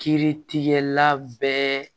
Kiiritigɛla bɛɛ